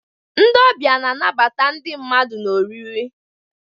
Ndị ọbịa na-anabata ndị mmadụ na oriri.